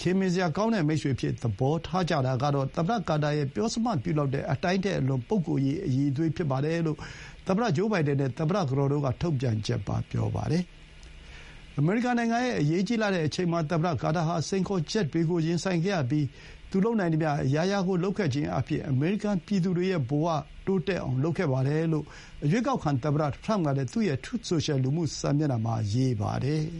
ခင်မင်စရာကောင်းတဲ့ မိတ်ဆွေအဖြစ် သဘောထား ကြတာကတော့ သမ္မတ ကာတာရဲ့ ပြောစမှတ်ပြုလောက်တဲ့ အတိုင်းထက်အလွန် ပုဂ္ဂိုလ်ရေး အရည်အသွေး ဖြစ်ပါတယ်လို့ သမ္မတ ဂျိုးဘိုင်ဒန်နဲ့ သမ္မတ ကတော်တို့က ထုတ်ပြန်ချက်မှာ ပြောပါတယ်။ အမေရိကန် နိုင်ငံရဲ့ အရေးကြီးလှတဲ့ အချိန်မှာ သမ္မတ ကာတာ ဟာ စိန်ခေါ်ချက်တွေကို ရင်ဆိုင်ခဲ့ရပြီး၊ သူလုပ်နိုင်သမျှ အရာရာ လုပ်ခဲ့ခြင်းအားဖြင့် အမေရိကန် ပြည်သူတွေရဲ့ ဘဝကို တိုးတက်အောင် လုပ်ခဲ့ပါတယ် လို့ အရွေးကောက်ခံ သမ္မတ ထရမ့်ကလည်း သူ့ရဲ့ Truth Social လူမှု စာမျက်နှာမှာ ရေးပါတယ်။